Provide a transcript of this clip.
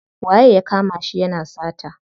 Waye ya kama shi yana sata?